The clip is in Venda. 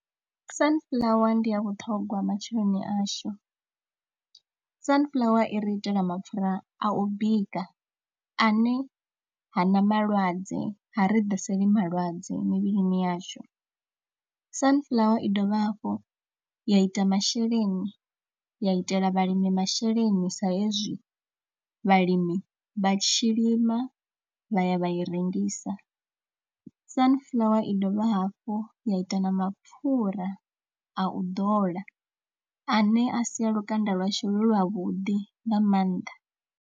Sunflower ndi ya vhuṱhongwa matsheloni ashu, Sunflower i ri itela mapfhura a u bika ane hana malwadze ha ri ḓiseli malwadze mivhilini yashu. Sunflower i dovha hafhu ya ita masheleni, ya itela vhalimi masheleni sa hezwi vhalimi vha tshi lima vha ya vha i rengisa. Sunflower i dovha hafhu ya ita na mapfhura a u dola ane a sia lukanda lwashu lu lwavhuḓi nga maanḓa.